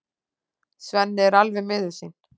Svenni er alveg miður sín.